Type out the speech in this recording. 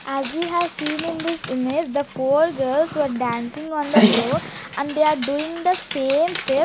as we have seen in this image the four girls were dancing on the floor and they are doing the same step --